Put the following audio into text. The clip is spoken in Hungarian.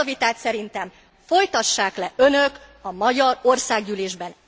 Ezt a vitát szerintem folytassák le önök a magyar országgyűlésben.